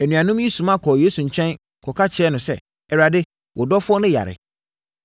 Anuanom yi soma kɔɔ Yesu nkyɛn kɔka kyerɛɛ no sɛ, “Awurade, wo dɔfoɔ no yare.”